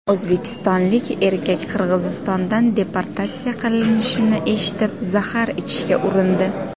O‘zbekistonlik erkak Qirg‘izistondan deportatsiya qilinishini eshitib, zahar ichishga urindi.